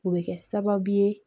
O bɛ kɛ sababu ye